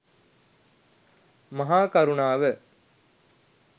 මහා කරුණාව